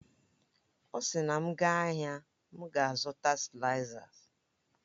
Ọ sị na m gaa ahịa, m ga-azụta sịlaizas